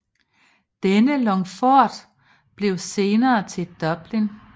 Denne longphort blev senere til Dublin